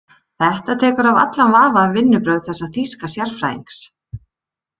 Þetta tekur af allan vafa um vinnubrögð þessa þýska sérfræðings.